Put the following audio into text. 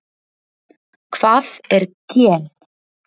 Hvað er gen?